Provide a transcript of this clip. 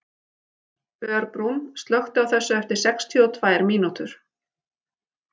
Örbrún, slökktu á þessu eftir sextíu og tvær mínútur.